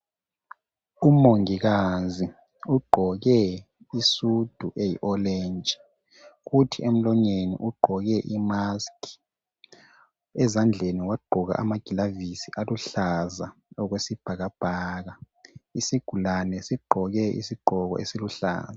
Umongikazi ugqoke isudu eyi orange kuthi emlonyeni ugqoke imask , ezandleni wagqoka ama glavisi aluhlaza okwesibhakabhaka , isigulane sigqoke isigqoko esiluhlaza